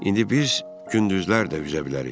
indi biz gündüzlər də üzə bilərik.